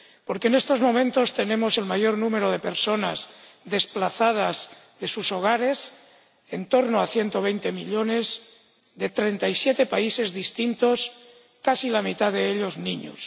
Porque en estos momentos tenemos el mayor número de personas desplazadas de sus hogares —en torno a 120 millones, de treinta y siete países distintos—, casi la mitad de ellos niños.